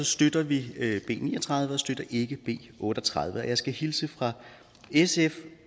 støtter vi b ni og tredive og ikke b otte og tredive og jeg skal hilse fra sf